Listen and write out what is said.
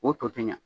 O to tɛ ɲɛ